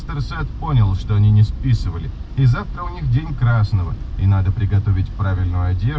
понял что они не списывали красного и надо приготовить правильно